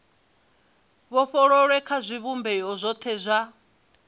vhofholowe kha zwivhumbeo zwothe zwa